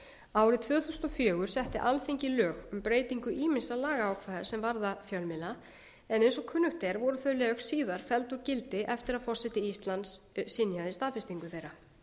árið tvö þúsund og fjögur setti alþingi lög um breytingu ýmissa lagaákvæða sem varða fjölmiðla en eins og kunnugt er voru þau lög síðar felld úr gildi eftir að forseti íslands synjaði staðfestingu þeirra